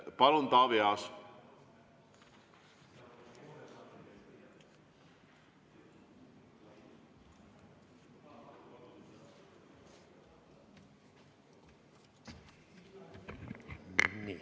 Palun, Taavi Aas!